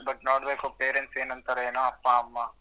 But ನೋಡ್ಬೇಕು parents ಏನ್ ಅಂತಾರೋ ಏನೋ ಅಪ್ಪ ಅಮ್ಮ.